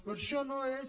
però això no és